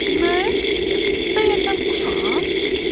Mən? Bəyəm mən quşam?